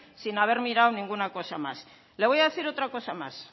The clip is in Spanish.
sin haber mirado ninguna cosa más le voy a decir otra cosa más